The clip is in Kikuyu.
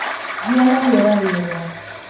Gĩa na rĩera rĩega